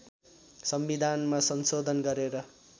संविधानमा संशोधन गरेर